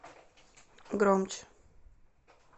громче